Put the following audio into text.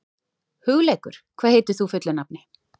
Hugleikur, hvað heitir þú fullu nafni?